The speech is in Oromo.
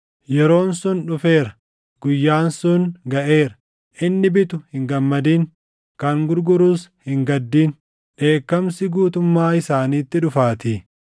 Yeroon sun dhufeera; guyyaan sun gaʼeera. Inni bitu hin gammadin; kan gurgurus hin gaddin; dheekkamsi guutummaa isaaniitti dhufaatii.